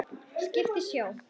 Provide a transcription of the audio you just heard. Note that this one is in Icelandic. Skip í sjó.